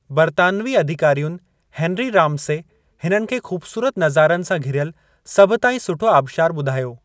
बरितानवी अधिकारियुनि Henry Ramsay हिननि खे खु़बसूरति नज़ारनि सां घिरयलु सभु ताईं सुठो आबिशारु बु॒धायो ।